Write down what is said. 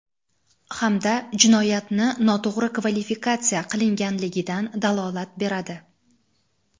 hamda jinoyatni noto‘g‘ri kvalifikatsiya qilganligidan dalolat beradi.